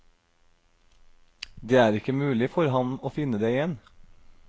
Det er ikke mulig for ham å finne det igjen.